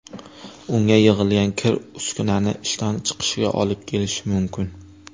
Unga yig‘ilgan kir uskunaning ishdan chiqishiga olib kelishi mumkin.